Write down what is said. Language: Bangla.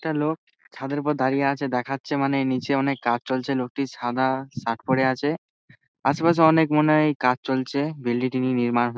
একটা লোক ছাদের উপর দাড়িয়ে আছে দেখাচ্ছে মানে নিচে অনেক কাজ চলছে লোকটি সাদা-আ শার্ট পরে আছে আসেপাশে অনেক মনে হয় কাজ চলছে বিল্ডিং -টি নির্মাণ হ--